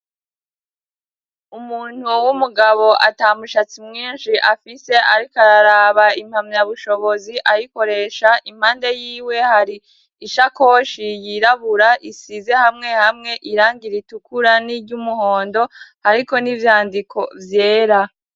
Umuntu wow'umugabo ata mushatsi mwinshi afise, ariko araraba impamya bushobozi ayikoresha impande yiwe hari ishakoshi yirabura isize hamwe hamwe iranga iritukura n'iryo umuhondo, ariko n'ivyandiko vyera.